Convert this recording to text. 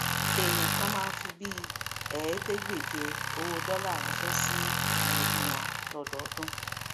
èèyàn kàn máa ń fi bíi ẹẹdégbèje owó dólà ránṣẹ sí àwọn ẹbí wọn lọdọọdún